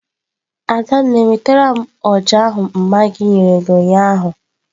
Adanne nwetara m oja ahu mma gi nyere gi unyanya.